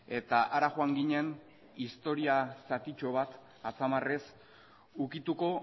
eta hara joan ginen historia zatitxo bat atzamarrez ukituko